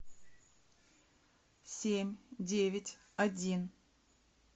семь девять один